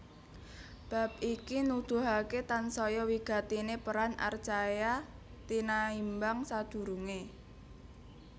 Bab iki nuduhaké tansaya wigatiné peran archaea tinaimbang sadurungé